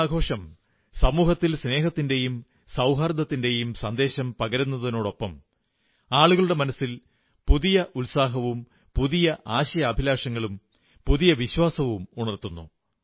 ഈ ആഘോഷം സമൂഹത്തിൽ സ്നേഹത്തിന്റെയും സൌഹാർദ്ദത്തിന്റെയും സന്ദേശം പകരുന്നതിനൊപ്പം ആളുകളുടെ മനസ്സിൽ പുതിയ ഉത്സാഹവും പുതിയ ആശയാഭിലാഷങ്ങളും പുതിയ വിശ്വാസവുമുണർത്തുന്നു